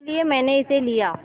इसलिए मैंने इसे लिया